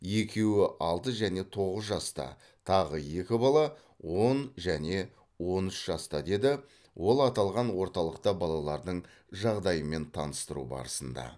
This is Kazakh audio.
екеуі алты және тоғыз жаста тағы екі бала он және он үш жаста деді ол аталған орталықта балалардың жағдайымен таныстыру барысында